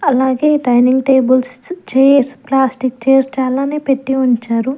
అలాగే dining tables chairs plastic chairs చాలానే పెట్టి ఉంచారు.